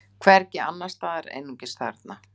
Hvergi annars staðar, einungis þarna.